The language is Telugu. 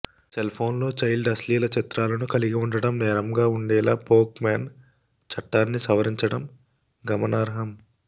సెల్ఫోన్లో చైల్డ్ అశ్లీల చిత్రాలను కలిగి ఉండటం నేరంగా ఉండేలా పోక్ మోన్ చట్టాన్ని సవరించడం గమనార్హం